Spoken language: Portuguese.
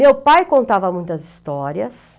Meu pai contava muitas histórias.